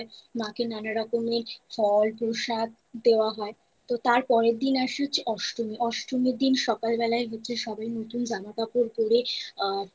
আরতি হয় মা কে নানা রকমের ফল প্রসাদ দেওয়া হয়। তো তার পরের দিন আসে হচ্ছে অষ্টমী। অষ্টমীর দিন সকাল বেলায় হচ্ছে সবাই নতুন জামা কাপড় পড়ে